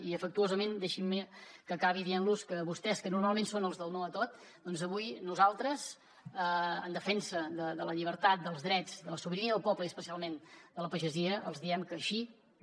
i afectuosament deixin me que acabi dient los que vostès que normalment són els del no a tot doncs avui nosaltres en defensa de la llibertat dels drets de la sobirania del poble i especialment de la pagesia els diem que així no